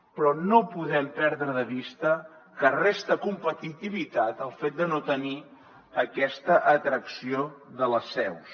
però no podem perdre de vista que resta competitivitat el fet de no tenir aquesta atracció de les seus